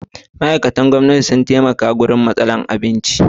Ma'aikatan gwamnati, sun taimaka sosai a lokacin matsalar abinci.